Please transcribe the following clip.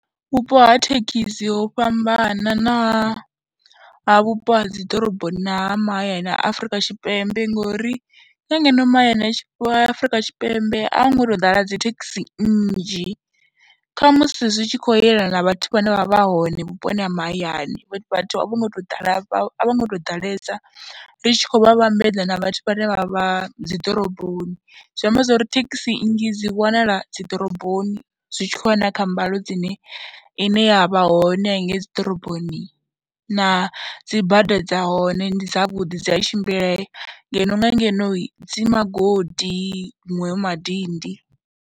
Vhupo ha thekhisi ho fhambana na ha vhupo ha dzi ḓoroboni na ha mahayani ha Afrika Tshipembe ngori nga ngeno mahayani a Afrika Tshipembe a hu ngo tou ḓala dzi thekhisi nnzhi, kha musi zwi tshi khou yelana na vhathu vhane vha vha hone vhuponi ha mahayani, vhathu a vho ngo tou ḓala a vho ngo tou ḓalesa ri tshi khou vha vhambedza na vhathu vhane vha vha dzi ḓoroboni. Zwi amba zwo ri thekhisi nnzhi dzi wanala dzi ḓoroboni zwi tshi khou ya na kha mbalo dzine ine ya vha hone henengei dzi ḓoroboni na dzi bada dza hone ndi dzavhuḓi, dzi a tshimbilea ngeno nga ngenohi dzi magodi, huṅwe hu madindi.